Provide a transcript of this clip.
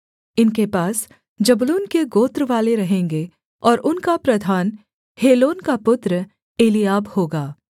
इनके पास जबूलून के गोत्रवाले रहेंगे और उनका प्रधान हेलोन का पुत्र एलीआब होगा